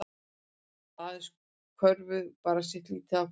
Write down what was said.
Aðeins körfu bara sitt lítið af hverju